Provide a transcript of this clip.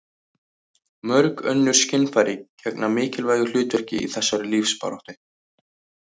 mörg önnur skynfæri gegna mikilvægu hlutverki í þessari lífsbaráttu